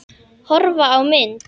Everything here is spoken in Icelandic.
Horfa á mynd